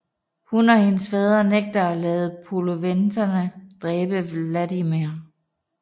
Hun og hendes fader nægter at lade poloveterne dræbe Vladimir